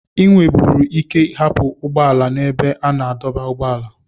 Ị nweburu ike hapụ ụgbọ ala n'ebe a na-adọba ụgbọala